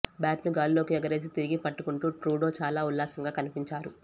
బ్యాట్ను గాల్లోకి ఎగరేసి తిరిగి పట్టుకుంటూ ట్రూడో చాలా ఉల్లాసంగా కనిపించారు